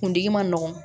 Kuntigi man nɔgɔn